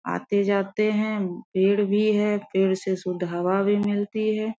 आते-जाते हैं पेड़ भी है पेड़ से शुद्ध हवा भी मिलती है।